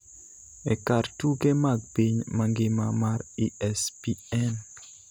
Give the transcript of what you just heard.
e kar tuke mag piny mangima mar ESPN